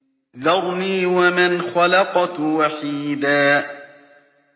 ذَرْنِي وَمَنْ خَلَقْتُ وَحِيدًا